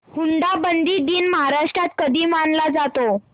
हुंडाबंदी दिन महाराष्ट्रात कधी मानला जातो